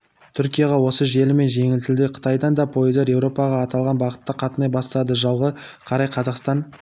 түркияға осы желімен жөнелтілді қытайдан да пойыздар еуропаға аталған бағытта қатынай бастады жылға қарай қазақстан